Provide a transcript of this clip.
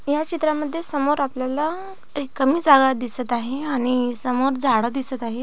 या चित्रामध्ये समोर आपल्याला रिकामी जागा दिसत आहे आणि समोर झाड दिसत आहे.